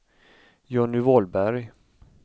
Johnny Wahlberg